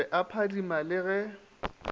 be e phadima le ge